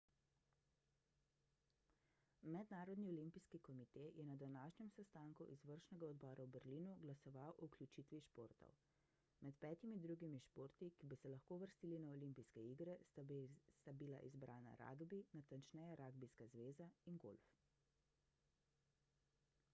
mednarodni olimpijski komite je na današnjem sestanku izvršnega odbora v berlinu glasoval o vključiti športov med petimi drugimi športi ki bi se lahko uvrstili na olimpijske igre sta bila izbrana ragbi natančneje ragbijska zveza in golf